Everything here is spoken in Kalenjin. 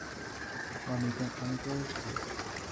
Momiten omitwo'kyik